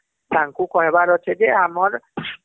ତାଙ୍କୁ କହିବାର ଅଛି ଯେ ଆମର